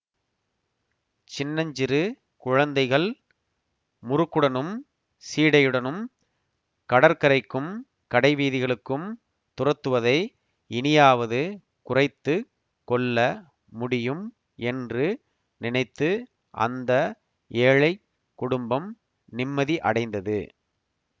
சின்னஞ்சிறு குழந்தைகள் முறுக்குடனும் சீடையுடனும் கடற்கரைக்கும் கடைவீதிகளுக்கும் துரத்துவதை இனியாவது குறைத்து கொள்ள முடியும் என்று நினைத்து அந்த ஏழை குடும்பம் நிம்மதியடைந்தது